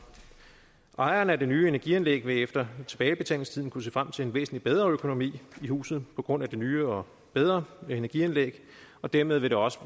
ejeren af det nye energianlæg vil efter tilbagebetalingstiden kunne se frem til en væsentlig bedre økonomi i huset på grund af det nye og bedre energianlæg og dermed vil det også